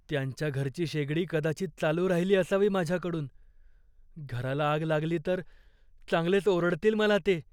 त्यांच्या घरची शेगडी कदाचित चालू राहिली असावी माझ्याकडून. घराला आग लागली तर चांगलेच ओरडतील मला ते.